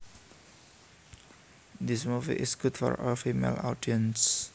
This movie is good for a female audience